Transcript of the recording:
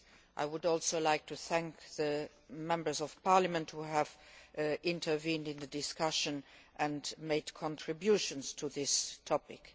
I would also like to thank the Members of Parliament who have taken part in the discussion and made contributions to this topic.